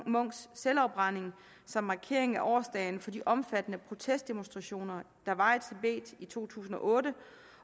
munks selvafbrænding som markering af årsdagen for de omfattende protestdemonstrationer der var i tibet i to tusind og otte